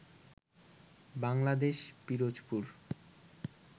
Bangladesh Pirojpur